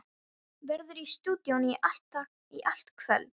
Verður í stúdíóinu í allt kvöld.